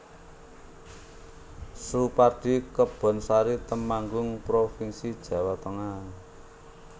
Soepardi Kebonsari Temanggung provinsi Jawa Tengah